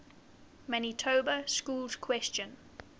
manitoba schools question